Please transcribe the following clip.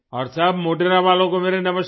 और सब मोढेरा वालों को मेरा नमस्कार